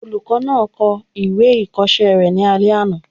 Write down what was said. Olùkọ́ náà ń kọ ìwé ìkọsẹ́ rẹ̀ ní alẹ́ àná